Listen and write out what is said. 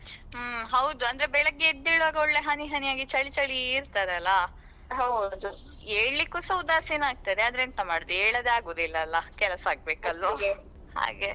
ಹ್ಮ್ ಹೌದು ಅಂದ್ರೆ ಬೆಳಿಗ್ಗೆ ಎದ್ದೆಳ್ವಾಗ ಒಳ್ಳೆ ಹನಿ ಹನಿಯಾಗಿ ಚಳಿ ಚಳಿ ಇರ್ತದಲ್ಲಾ ಏಳಿಕ್ಕುಸ ಉದಾಸೀನ ಆಗ್ತದೆ ಆದ್ರೆ ಎಂತ ಮಾಡುದು ಏಳದೆ ಅಗುದಿಲ್ಲಲ್ಲಾ ಕೆಲಸ ಆಗ್ಬೇಕಲ್ಲಾ ಹಾಗೆ.